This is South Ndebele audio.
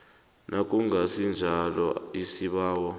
nakungasi njalo isibawo